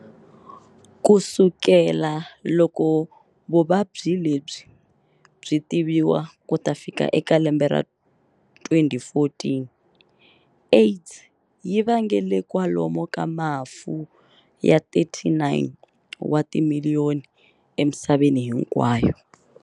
Kusukela loko vuvabyi lebyi byi tiviwa kuta fika eka lembe ra 2014, AIDS yi vangele kwalomu ka mafu ya 39 wa timiliyoni emisaveni hinkwayo.